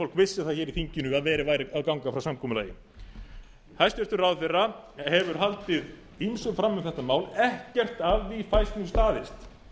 fólk vissi það hér í þinginu að verið væri að ganga frá samkomulaginu hæstvirtur ráðherra hefur haldið ýmsu fram um þetta mál ekkert af því fæst nú staðist